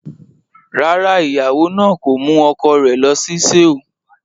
Rárá, ìyàwó náà kò mú ọkọ rẹ̀ lọ sí Seoul.